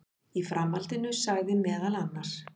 Í framhaldinu sagði meðal annars